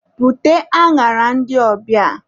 Bute añara ndị ọbịa!